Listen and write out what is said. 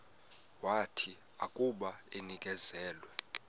wathi akuba enikezelwe